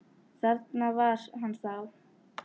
Þarna var hann þá!